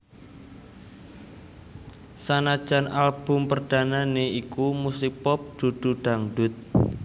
Sanajan album perdanane iku musik pop dudu dangdut